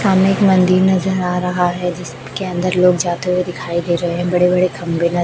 सामने एक मंदिल नजर आ रहा है जिसके अंदर लोग जाते हुए दिखाई दे रहे है बड़े बड़े खम्बे न--